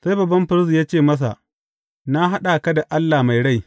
Sai babban firist ya ce masa, Na haɗa ka da Allah mai rai.